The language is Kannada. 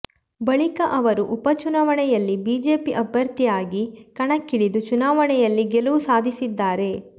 ಬಳಿಕ ಅವರು ಉಪಚುನಾವಣೆಯಲ್ಲಿ ಬಿಜೆಪಿ ಅಭ್ಯರ್ಥಿಯಾಗಿ ಕಣಕ್ಕಿಳಿದು ಚುನಾವಣೆಯಲ್ಲಿ ಗೆಲುವು ಸಾಧಿಸಿದ್ದಾರೆ